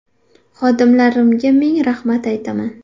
Xodimlarimga ming rahmat aytaman.